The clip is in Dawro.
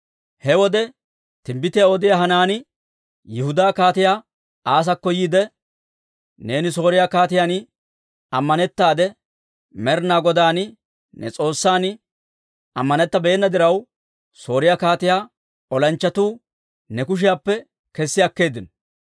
He wode timbbitiyaa odiyaa Hanaani Yihudaa Kaatiyaa Asaakko yiide, «Neeni Sooriyaa kaatiyaan ammanettaade, Med'inaa Godan, ne S'oossan, ammanettabeenna diraw, Sooriyaa kaatiyaa olanchchatuu ne kushiyaappe kessi akkeeddino.